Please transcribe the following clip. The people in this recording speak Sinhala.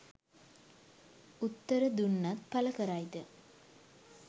උත්තර දුන්නත් පල කරයිද